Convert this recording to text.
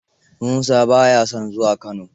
Musa ba ya son zuwa Kano.